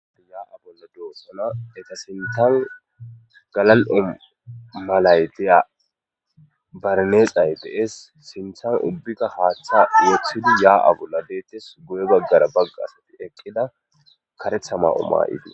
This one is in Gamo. yaa7a bolla doosana eta sintan galal7o malaytiya barneexay dees sinthan ubbika haaththa yooththidi yaa7a bolla deettes guye baggara bagga asati eqqida karetha ma7o maa7iti